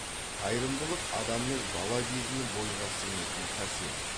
қайырымдылық адамның бала кезінен бойға сіңетін қасиет